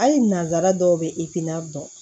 Hali nanzara dɔw bɛ i tin na dɔn